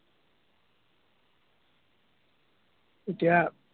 এতিয়া